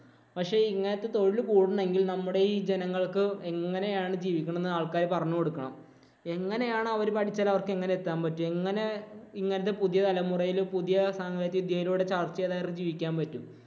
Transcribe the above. പക്ഷേ ഇങ്ങനത്തെ തൊഴിൽ കൂടണമെങ്കിൽ നമ്മുടെ ഈ ജനങ്ങൾക്ക് എങ്ങനെയാണ് ജീവിക്കണമെന്ന് ആള്‍ക്കാര് പറഞ്ഞു കൊടുക്കണം. എങ്ങനെയാണ് അവര് പഠിച്ചാല്‍ അവര്‍ക്ക് എങ്ങനെ എത്താന്‍ പറ്റുക. എങ്ങനെ ഇന്നത്തെ പുതിയ തലമുറയിൽ പുതിയ സാങ്കേതികവിദ്യയിലൂടെ ജീവിക്കാന്‍ പറ്റും.